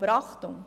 Aber Achtung: